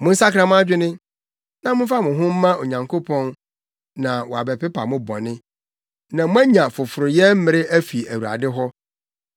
Monsakra mo adwene na momfa mo ho mma Onyankopɔn na wɔbɛpepa mo bɔne, na moanya foforoyɛ mmere afi Awurade hɔ,